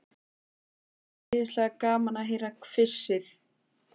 Það er svo æðislega gaman að heyra hvissið.